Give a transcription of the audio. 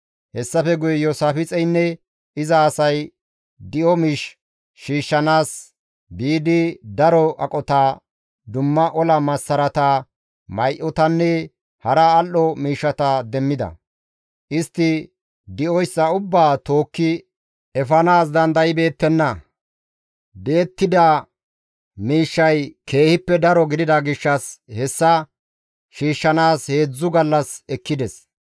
Hessafe guye Iyoosaafixeynne iza asay di7o miish shiishshanaas biidi daro aqota, dumma ola massarata, may7otanne hara al7o miishshata demmida; istti di7oyssa ubbaa tookki efanaas dandaybeettenna; di7ettida miishshay keehippe daro gidida gishshas hessa shiishshanaas heedzdzu gallas ekkides.